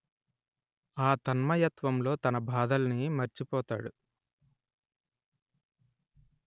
ఆ తన్మయత్వంలో తన బాధల్ని మరిచిపోతాడు